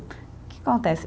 O que acontece?